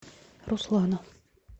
руслана